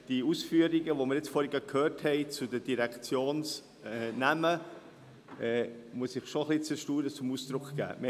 Zu den Ausführungen zu den Direktionsnamen, die wir soeben gehört haben, muss ich schon ein bisschen meinem Erstaunen Ausdruck geben.